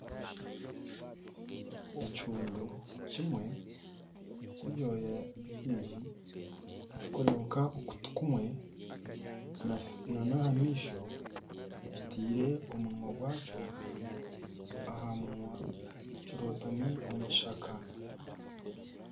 Ekihuundu kimwe ky'ebyooya bingi kirikureebeka okutu kumwe, nana aha maisho kitaire omunwa gwaakyo aha munwa kirotami omu kishaka.